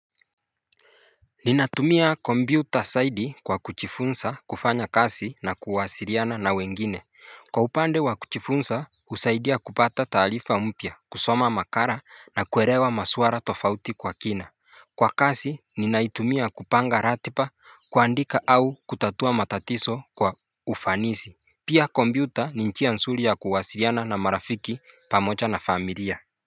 Ninatumia kompyuta saidi kwa kuchifunsa kufanya kasi na kuwasiriana na wengine. Kwa upande wa kuchifunsa husaidia kupata taalifa mpya, kusoma makara na kuerewa masuara tofauti kwa kina Kwa kasi ninaitumia kupanga ratipa kuandika au kutatua matatiso kwa ufanisi. Pia kompyuta ni nchia nsuri ya kuwasiriana na marafiki pamocha na familia.